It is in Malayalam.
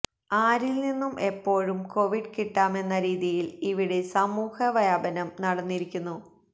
ആരിൽനിന്നും എപ്പോഴും കോവിഡ് കിട്ടാമെന്ന രീതിയിൽ ഇവിടെ സമൂഹ വ്യാപനം നടന്നിരിക്കുന്നു